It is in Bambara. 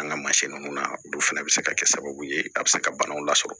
An ka mansin nunnu na olu fɛnɛ bɛ se ka kɛ sababu ye a bɛ se ka banaw lasɔrɔ